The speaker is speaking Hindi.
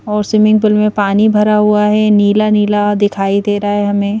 और स्विमिंग पूल में पानी भरा हुआ है नीला नीला दिखाई दे रहा है हमें।